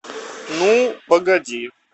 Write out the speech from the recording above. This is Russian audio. ну погоди